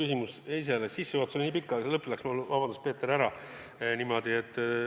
Iseenesest sissejuhatus oli nii pikk, et see lõpp läks mul, vabandust, Peeter, kaduma.